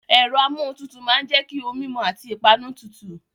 Ẹ̀rọ amuohuntutu máa ń jẹ́ kí ohun mímu àti ìpanu tutù.